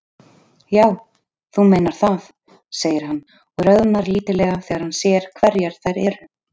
Já, þú meinar það, segir hann og roðnar lítillega þegar hann sér hverjar þær eru.